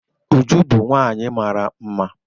Uju bu nwanyi mara mma.